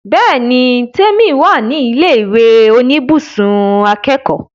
Bẹ́ẹ̀ni l, Tèmi wà ní ilé ìwé oníbùsùn akẹ́kọ̀ọ́